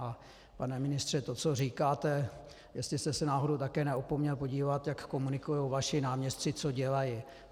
A pane ministře, to co říkáte, jestli jste se náhodou také neopomněl podívat, jak komunikují vaši náměstci, co dělají.